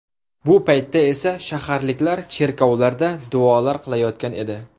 Bu paytda esa shaharliklar cherkovlarda duolar qilayotgan edi.